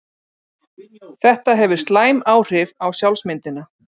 Þetta hefur slæm áhrif á sjálfsmyndina.